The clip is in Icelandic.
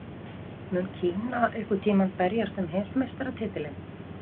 Mun Kína einhvern tímann berjast um heimsmeistaratitilinn?